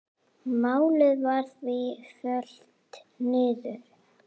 Málið var því fellt niður.